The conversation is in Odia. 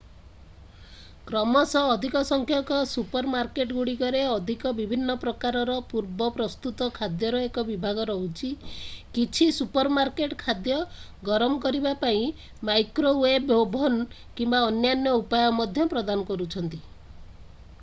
କ୍ରମଶଃ ଅଧିକ ସଂଖ୍ୟକ ସୁପରମାର୍କେଟଗୁଡ଼ିକରେ ଅଧିକ ବିଭିନ୍ନ ପ୍ରକାରର ପୂର୍ବ-ପ୍ରସ୍ତୁତ ଖାଦ୍ୟର ଏକ ବିଭାଗ ରହୁଛି କିଛି ସୁପରମାର୍କେଟ୍ ଖାଦ୍ୟ ଗରମ କରିବା ପାଇଁ ମାଇକ୍ରୋୱେଭ୍ ଓଭନ୍ କିମ୍ବା ଅନ୍ୟାନ୍ୟ ଉପାୟ ମଧ୍ୟ ପ୍ରଦାନ କରୁଛନ୍ତି